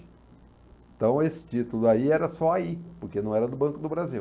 Então, esse título aí era só aí, porque não era do Banco do Brasil.